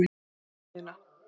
Fór inn í verksmiðjuna.